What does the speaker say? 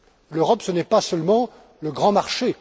L'Europe ce n'est pas seulement le grand marché.